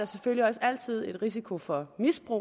selvfølgelig også altid en risiko for misbrug